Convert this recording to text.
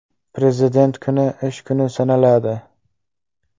Prezident kuni ish kuni sanaladi.